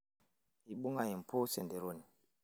eibung'a empuus enderoni